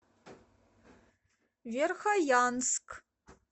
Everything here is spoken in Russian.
верхоянск